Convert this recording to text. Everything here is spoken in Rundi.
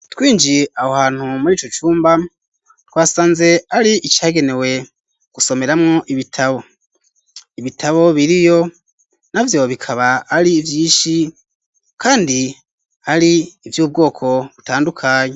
Twinjiye aho hantu murico cumba twasanze ari icagenewe gusomeramwo ibitabo, Ibitabo biriyo navyo bikaba ari vyinshi kandi ari ivyubwoko butandukanye.